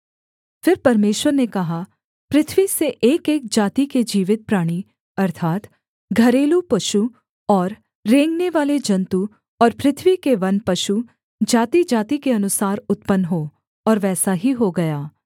फिर परमेश्वर ने कहा पृथ्वी से एकएक जाति के जीवित प्राणी अर्थात् घरेलू पशु और रेंगनेवाले जन्तु और पृथ्वी के वन पशु जातिजाति के अनुसार उत्पन्न हों और वैसा ही हो गया